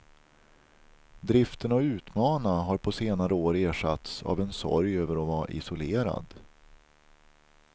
Driften att utmana har på senare år ersatts av en sorg över att vara isolerad.